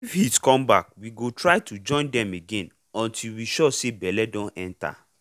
if heat come back we go try to join dem again until we sure say belle don enter.